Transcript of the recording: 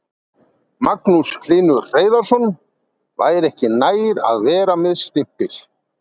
Magnús Hlynur Hreiðarsson: Væri ekki nær að vera með stimpil?